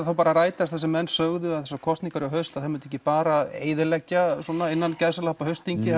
þá bara að rætast það sem menn sögðu að þessar kosningar í haust myndu ekki bara eyðileggja innan gæsalappa haustþingið